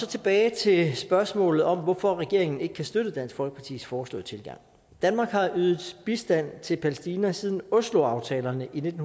tilbage til spørgsmålet om hvorfor regeringen ikke kan støtte dansk folkepartis foreslåede tilgang danmark har ydet bistand til palæstina siden osloaftalerne i nitten